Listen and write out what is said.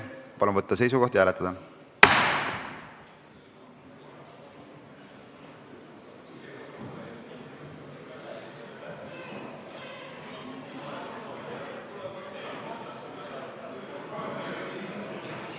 Palun võtta seisukoht ja hääletada!